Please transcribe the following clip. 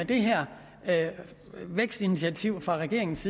det her vækstinitiativ fra regeringens